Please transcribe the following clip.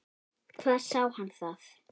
Hvar sá hann það?